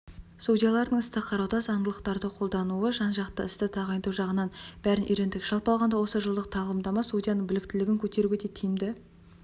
судьялардың істерді қарауда заңдылықтарды қолдануы жан-жақты істі дайындау жағынан бәрін үйрендік жалпы алғанда осы жылдық тағлымдама судияның біліктілігін көтеруге де тиімді